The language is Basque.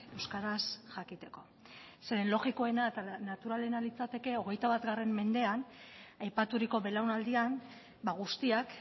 euskaraz jakiteko zeren logikoena eta naturalena litzateke hogeita bat mendean aipaturiko belaunaldian guztiak